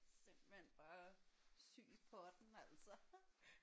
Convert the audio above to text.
Simpelthen bare syg i potten altså